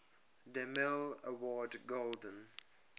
demille award golden